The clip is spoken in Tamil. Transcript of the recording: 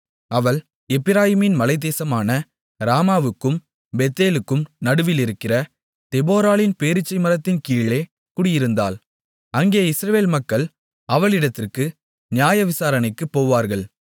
அவள் எப்பிராயீம் மலைத்தேசமான ராமாவுக்கும் பெத்தேலுக்கும் நடுவிலிருக்கிற தெபொராளின் பேரீச்சை மரத்தின் கீழே குடியிருந்தாள் அங்கே இஸ்ரவேல் மக்கள் அவளிடத்திற்கு நியாயவிசாரணைக்குப் போவார்கள்